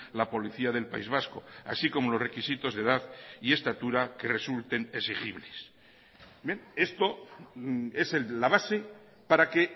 la policía del país vasco así como los requisitos de edad y estatura que resulten exigibles esto es la base para que